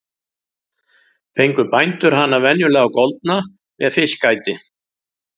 Fengu bændur hana venjulega goldna með fiskæti.